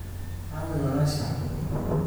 aaway walaashaa?